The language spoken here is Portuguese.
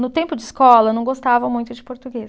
No tempo de escola, eu não gostava muito de português.